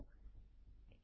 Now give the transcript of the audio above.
2